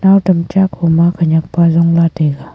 nao tam cha kho ma khanyak pa ajong la taega.